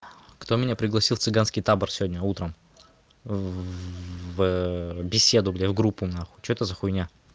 кто меня пригласил в цыганский табор сегодня утром в в беседу бля в группу нахуй что это за хуйня